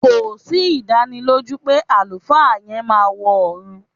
Kò sí ìdánilójú pé àlùfáà yẹn máa wọ ọ̀ọ̀run